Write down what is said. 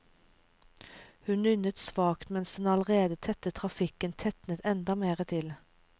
Hun nynnet svakt mens den allerede tette trafikken tetnet enda mer til.